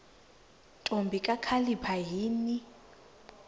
ntombi kakhalipha yini